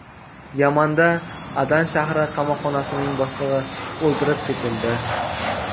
Yamanda Adan shahri qamoqxonasining boshlig‘i o‘ldirib ketildi.